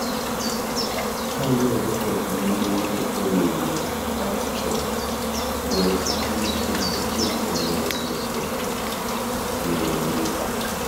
Kaluwore kod nonro mar Emily Baxtromgoyo sigana en achiel kuom yore nyiso ng'eyoni.